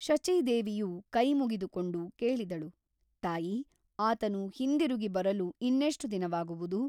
ಶಚೀದೇವಿಯು ಕೈಮುಗಿದುಕೊಂಡು ಕೇಳಿದಳು ತಾಯಿ ಆತನು ಹಿಂದಿರುಗಿಬರಲು ಇನ್ನೆಷ್ಟು ದಿನವಾಗುವುದು ?